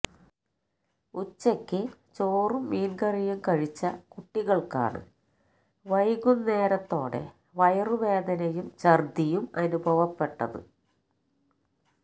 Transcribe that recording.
ഉച്ചയ്ക്ക് ചോറും മീന്കറിയും കഴിച്ച കുട്ടികള്ക്കാണ് വൈകുന്നേരത്തോടെ വയറുവേദനയും ഛര്ദ്ദിയും അനുഭവപ്പെട്ടത്